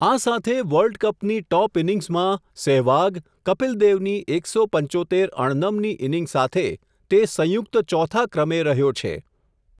આ સાથે વર્લ્ડકપની ટોપ ઈનિંગસમાં સેહવાગ, કપિલદેવની એક સો પંચોતેર અણનમની ઈનિંગ સાથે, તે સંયુક્ત ચોથા ક્રમે રહ્યો છે.